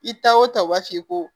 I ta o ta u b'a f'i ye ko